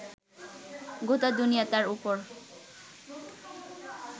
গোটা দুনিয়াটার ওপর